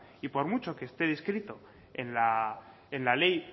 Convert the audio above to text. y por mucho que esté descrito en la ley